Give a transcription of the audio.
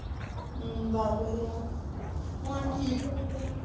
ਦਾਖ਼ਲ ਰਿਹਾ, ਹੁਣ ਠੀਕ ਏ।